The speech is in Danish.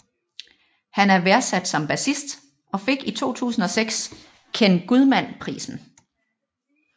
Han er værdsat som bassist og fik i 2006 Ken Gudman Prisen